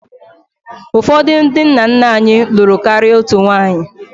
Ụfọdụ ndị nna nna anyị lụrụ karịa otu nwunye